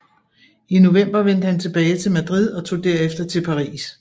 I november vendte han tilbage til Madrid og tog derefter til Paris